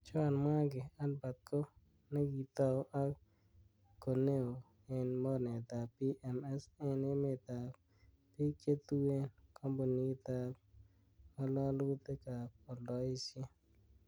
Joanne mwangi Albert ko ne kitou ak koneo en mornetab PMS en emetab bik che tuen, kompunitab ngalalutik ab oldoisiet.